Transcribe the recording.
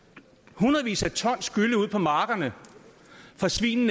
hundredvis af ton gylle ud på markerne fra svin